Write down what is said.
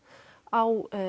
á